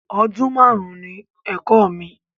Ọdún máàrún ni ẹ̀kọ́ mi